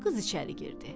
qız içəri girdi.